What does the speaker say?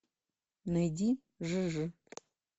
найди жижи